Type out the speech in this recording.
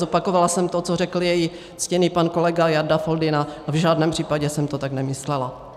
Zopakovala jsem to, co řekl její ctěný pan kolega Jarda Foldyna, a v žádném případě jsem to tak nemyslela.